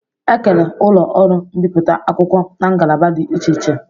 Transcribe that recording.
E kere ụlọ ọrụ mbiputa akwụkwọ n'ngalaba dị iche iche